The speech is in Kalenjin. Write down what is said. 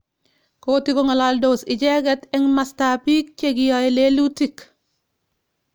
Kotikongalalndos icheket eng mastap pik chekiai lelutik.